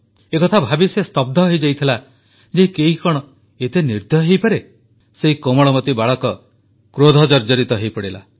ଏକଥା ଭାବି ସେ ସ୍ତବ୍ଧ ହୋଇଯାଇଥିଲା ଯେ କେହି କଣ ଏତେ ନିର୍ଦ୍ଦୟ ହୋଇପାରେ ସେହି କୋମଳମତି ବାଳକ କ୍ରୋଧଜର୍ଜରିତ ହୋଇପଡ଼ିଲା